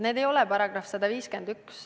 Need ei ole § 151.